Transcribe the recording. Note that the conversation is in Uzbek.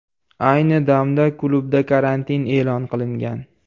Ayni damda klubda karantin e’lon qilingan.